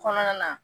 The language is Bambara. Kɔnɔna na